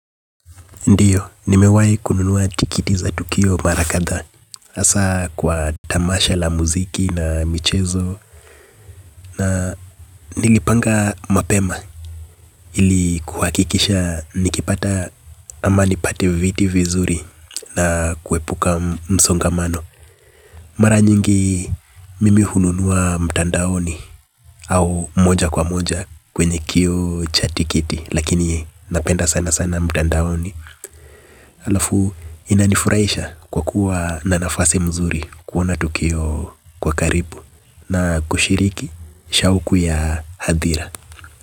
Ndiyo, nimewai kununua tikiti za tukio mara kadhaa hasa kwa tamasha la muziki na michezo. Na nalipanga mapema ili kuhakikisha nikipata ama nipate viti vizuri. Na kuepuka msongamano. Mara nyingi mimi hununuwa mtandaoni au moja kwa moja kwenye kioo cha tikiti. Lakini napenda sana sana mtandaoni. Alafu inanifuraisha kwa kuwa na nafasi mzuri kuona tukio kwa karibu na kushiriki shauku ya hadhira.